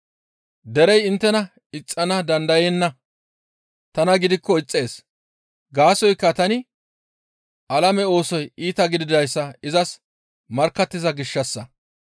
Derey inttena ixxana dandayenna; tana gidikko ixxees; gaasoykka tani alame oosoy iita gididayssa izas markkattiza gishshassa.